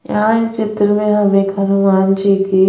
यहां इस चित्र में हम एक हनुमान जी की--